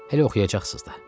Hələ oxuyacaqsınız da.